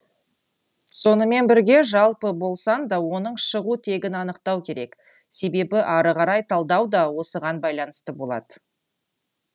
сонымен бірге жалпы болсаң да оның шығу тегін анықтау керек себебі ары қарай талдау да осыған байланысты болад